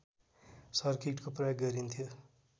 सर्किटको प्रयोग गरिन्थ्यो